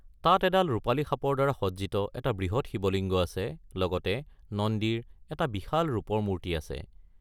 তাত এডাল ৰূপালী সাপৰ দ্বাৰা সজ্জিত এটা বৃহৎ শিৱলিংগ আছে, লগতে নন্দীৰ এটা বিশাল ৰূপৰ মূৰ্তি আছে।